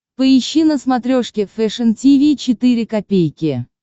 поищи на смотрешке фэшн ти ви четыре ка